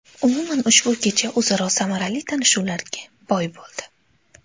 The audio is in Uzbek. Umuman, ushbu kecha o‘zaro samarali tanishuvlarga boy bo‘ldi.